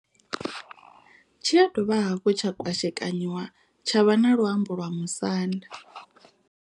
Tshi ya dovha hafhu tsha kwashekanyiwa tsha vha na luambo lwa musanda.